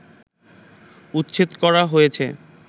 উচ্ছেদ করা হয়েছে